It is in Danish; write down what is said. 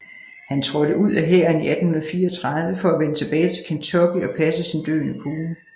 Han trådte ud af hæren i 1834 for at vende tilbage til Kentucky og passe sin døende kone